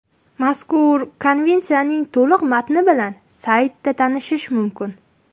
Mazkur Konvensiyaning to‘liq matni bilan saytida tanishish mumkin.